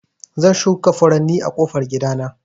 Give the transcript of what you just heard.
Zan shuka furanni a ƙofan gida na.